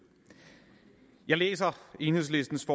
jeg læser enhedslistens